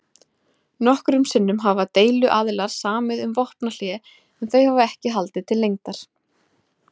Nokkrum sinnum hafa deiluaðilar samið um vopnahlé en þau hafa ekki haldið til lengdar.